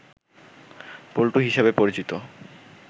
পল্টু হিসাবে পরিচিত